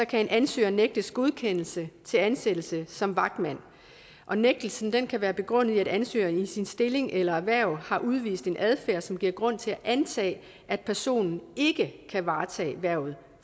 kan en ansøger nægtes godkendelse til ansættelse som vagtmand og nægtelsen kan kan være begrundet i at ansøgeren i sin stilling eller sit erhverv har udvist en adfærd som giver grund til at antage at personen ikke kan varetage hvervet